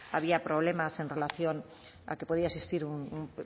había problemas en relación a que podía existir un